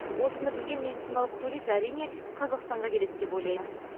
осыны білген медициналық турист әрине қазақстанға келеді деп ойлаймын